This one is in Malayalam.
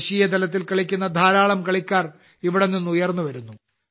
ദേശീയതലത്തിൽ കളിക്കുന്ന ധാരാളം കളിക്കാർ ഇവിടെ നിന്ന് ഉയർന്നുവരുന്നു